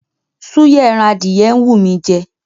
Súyà ẹran adìyẹ ń wú mí í jẹ.